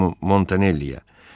Montanelliyə.